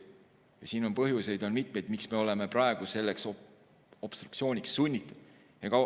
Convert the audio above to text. Aga siin on põhjuseid mitu, miks me oleme praegu selleks obstruktsiooniks sunnitud.